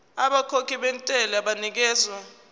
abakhokhi bentela banikezwa